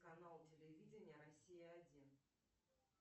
канал телевидения россия один